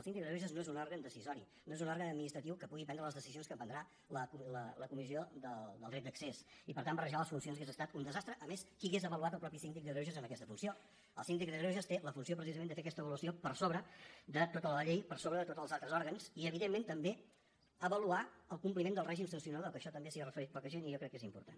el síndic de greuges no és un òrgan decisori no és un òrgan administratiu que pugui prendre les decisions que prendrà la comissió del dret d’accés i per tant barrejar les funcions hauria estat un desastre a més qui hauria avaluat el mateix síndic de greuges en aquesta funció el síndic de greuges té la funció precisament de fer aquesta avaluació per sobre de tota la llei per sobre de tots els altres òrgans i evidentment també avaluar el compliment del règim sancionador que a això també s’hi ha referit poca gent i jo crec que és important